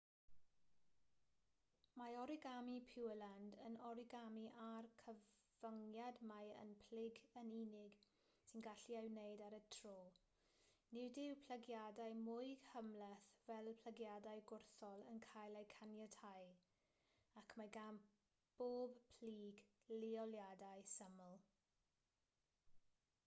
mae origami pureland yn origami â'r cyfyngiad mai un plyg yn unig sy'n gallu cael ei wneud ar y tro nid yw plygiadau mwy cymhleth fel plygiadau gwrthol yn cael eu caniatáu ac mae gan bob plyg leoliadau syml